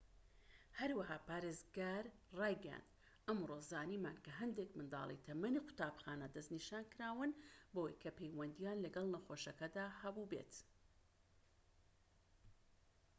هەروەها پارێزگار ڕایگەیاند ئەمڕۆ زانیمان کە هەندێک منداڵی تەمەنی قوتابخانە دەسنیشانکراون بەوەی کە پەیوەندیان لەگەڵ نەخۆشەکەدا هەبوو بێت